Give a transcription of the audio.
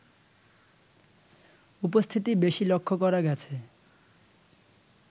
উপস্থিতি বেশী লক্ষ্য করা গেছে